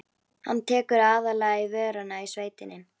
Hann tekur aðallega í vörina í sveitinni.